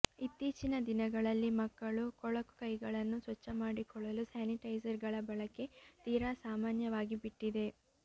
ಇತ್ತೀಚಿನ ದಿನಗಳಲ್ಲಿ ಮಕ್ಕಳು ಕೊಳಕು ಕೈಗಳನ್ನು ಸ್ವಚ್ಛ ಮಾಡಿಕೊಳ್ಳಲು ಸ್ಯಾನಿಟೈಸರ್ ಗಳ ಬಳಕೆ ತೀರಾ ಸಾಮಾನ್ಯವಾಗಿಬಿಟ್ಟಿದೆ